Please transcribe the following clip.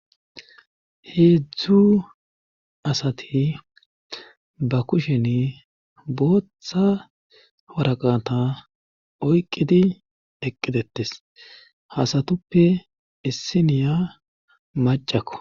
heedzdzu asati ba kushen booththa waraqata oyqqidi eqqitettes hasatuppe issi niya macakko